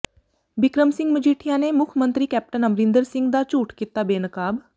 ਬਿਕਰਮ ਸਿੰਘ ਮਜੀਠੀਆ ਨੇ ਮੁੱਖ ਮੰਤਰੀ ਕੈਪਟਨ ਅਮਰਿੰਦਰ ਸਿੰਘ ਦਾ ਝੂਠ ਕੀਤਾ ਬੇਨਕਾਬ